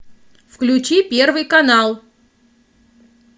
включи первый канал